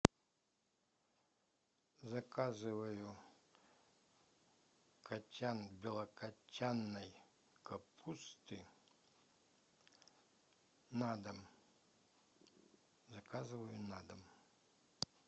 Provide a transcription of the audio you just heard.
заказываю кочан белокочанной капусты на дом заказываю на дом